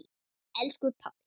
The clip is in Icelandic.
Elsku pabbi!